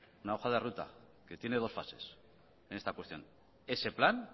una hoja de ruta que tiene dos fases en esta cuestión ese plan